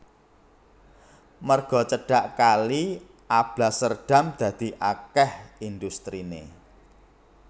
Merga cedhak kali Alblasserdam dadi akèh industriné